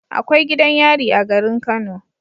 Akwai gidan yari a garin kano